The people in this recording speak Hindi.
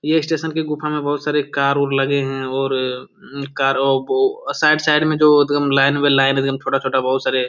ये स्टेशन की गुफा में बहुत सारे कार और लगे है। और अ कार ओ बो साइड साइड में जो एकदम लाइन बाय लाइन छोटा-छोटा बहुत सारे--